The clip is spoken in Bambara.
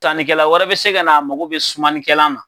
Tanikɛla wɛrɛ be se ka na a mago be sumanikɛlan na